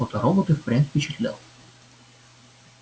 фоторобот и впрямь впечатлял